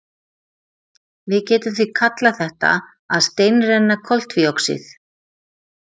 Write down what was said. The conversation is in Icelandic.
Við getum því kallað þetta að steinrenna koltvíoxíð.